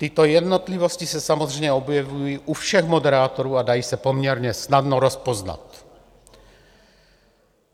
Tyto jednotlivosti se samozřejmě objevují u všech moderátorů a dají se poměrně snadno rozpoznat.